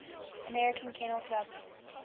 american kennel club